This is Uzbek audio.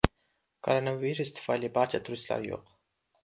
Koronavirus tufayli barda turistlar yo‘q.